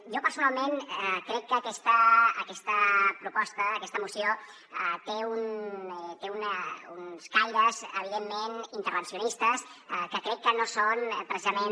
jo personalment crec que aquesta proposta aquesta moció té uns caires evidentment intervencionistes que crec que no són precisament